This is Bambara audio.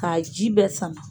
K'a ji bɛɛ sama.